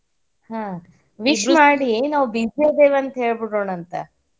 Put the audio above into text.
ಹ್ಮ wish ಮಾಡಿ ನಾವ busy ಅದೇವಂತ ಹೇಳ್ಬಿಡೋಣಂತ.